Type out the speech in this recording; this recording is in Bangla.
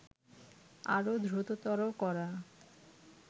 আরও দ্রুততর করা